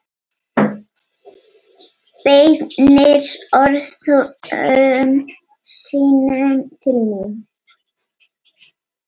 Beinir orðum sínum til mín.